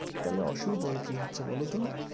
তাহলে অসুবিধাও কী হচ্ছে বলত?